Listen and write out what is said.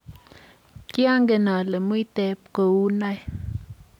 kiangen ale muiteb kou noe